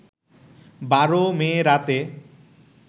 ১২ মে রাতে